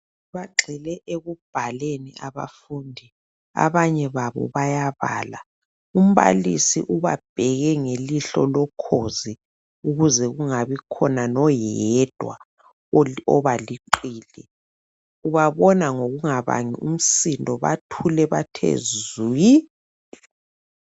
Bagxile ekubhaleni abafundi, abanye babo bayabala. Umbalisi ubabheke ngelihlo lokhozi ukuze kungabikhona noyedwa obaliqili. Ubabona ngokungabangi umsindo bathule bathe zwi